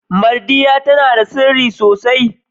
Mardiya tana da sirri sosai.